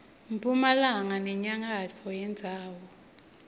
mphumalanga nenyakatfo yendzawo